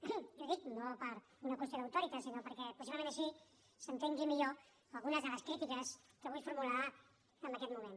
i ho dic no per una qüestió d’auctoritas sinó perquè possiblement així s’entenguin millor algunes de les critiques que vull formular en aquest moment